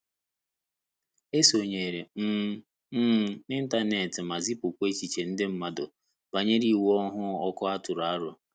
E sonyere um m n'ịntanet ma zipụkwa echiche nde mmandu banyere iwu ọhụụ ọkụ a tụrụ aro